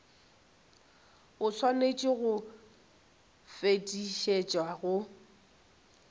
o swanetše go fetišetšwa go